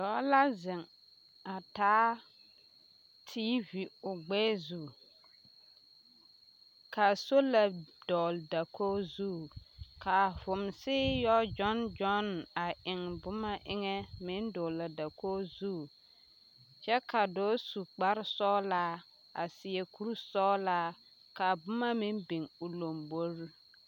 Dɔɔ la zeŋ a taa TV o gbɛɛ zu ka sola dɔgele dakogi zu ka vomsi yɔ gyɔne gyɔne a eŋ boma eŋɛ meŋ dɔgele a dakogi zu kyɛ ka dɔɔ su kpare sugelaa a seɛ kuri sɔgelaa ka boma meŋ biŋ o lombori.